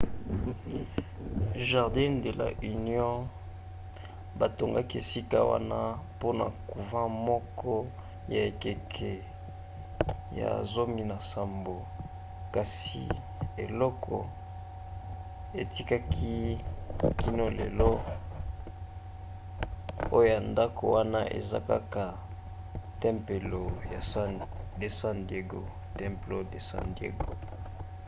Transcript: jardín de la unión. batongaki esika wana mpona couvent moko ya ekeke ya 17 kasi eloko etikali kino lelo oya ndako wana eza kaka templo de san diego